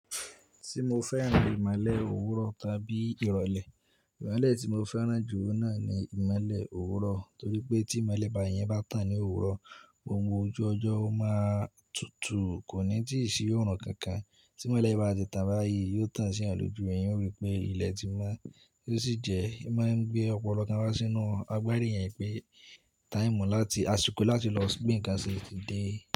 Ti mo fẹ́ràn ìmọ̀lẹ̀ òwúrọ̀ tàbí ìrọ̀lẹ̀, ìmọ̀lẹ̀ tí mo fẹ́ràn jù náà ni ìmọ̀lẹ̀ òwúrọ̀. Torí pé tí ìmọ̀lẹ̀ bá yẹn bá tàn ní òwúrọ̀, ohun gbogbo ojú ọjọ́ ó máa tutù, kò ní tìí sí òrun kankan. Tí ìmọ̀lẹ̀ bá ti tà bá yí, yóò tàn sí yan lòjù, ẹ̀yan ó rí i pé ilẹ̀ ti mo, bó ti jẹ ẹ máa ń gbé ọ̀pọ̀lọpọ̀ kan wá sínú agbárí yẹn pé táìmù láti, àsìkò láti lọ ṣí bí ǹkan ṣe ti dé.